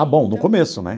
Ah, bom, no começo, né?